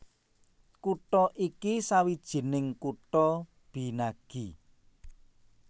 Kutha iki sawijining kutha binagi